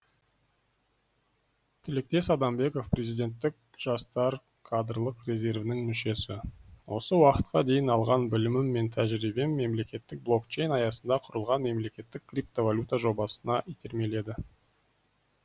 тілектес адамбеков президенттік жастар кадрлық резервінің мүшесі осы уақытқа дейін алған білімім мен тәжірибем мемлекеттік блокчейн аясында құрылған мемлекеттік криптовалюта жобасына итермеледі